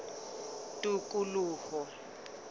tikoloho